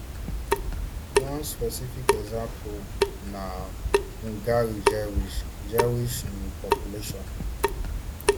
one specific example na hungary jewish jewish um population